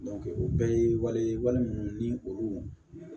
o bɛɛ ye wale ye wale ninnu ni olu